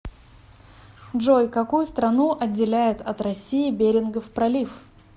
джой какую страну отделяет от россии берингов пролив